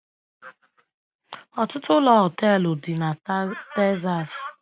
Ọtụtụ ụlọ họteelu dị na Texas